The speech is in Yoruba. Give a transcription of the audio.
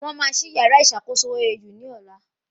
Wọ́n máa ṣí yàrá ìṣàkóso OAU ní ọ̀la